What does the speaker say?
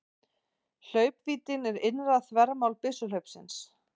Hlaupvíddin er innra þvermál byssuhlaupsins.